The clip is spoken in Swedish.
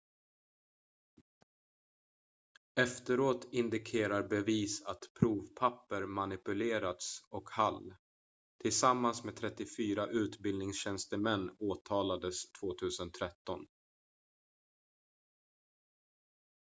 efteråt indikerade bevis att provpapper manipulerats och hall tillsammans med 34 utbildningstjänstemän åtalades 2013